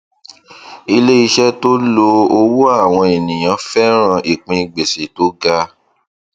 iléiṣẹ tó lo owó àwọn ènìyàn fẹràn ìpín gbèsè tó ga